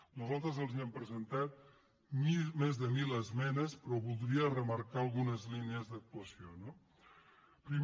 nosaltres els hem presentat més de mil esmenes però voldria remarcar algunes línies d’actuació no primer